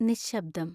നിശബ്ദം